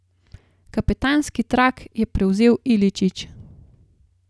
Kapetanski trak je prevzel Iličić.